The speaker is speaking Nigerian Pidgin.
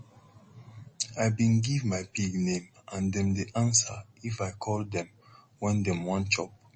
i bin give my pig name and dem dey answer if i call dem wen dem wan chop